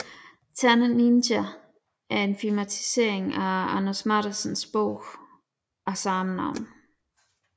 Ternet Ninja er en filmatisering af Anders Matthesens bog af samme navn